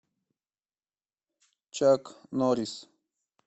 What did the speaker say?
чак норрис